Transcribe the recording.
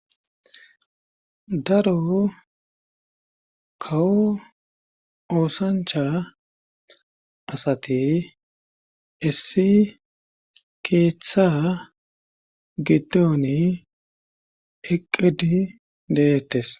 Daro kawo oosancha asati issi keeththa giddoni eqqedi deettes.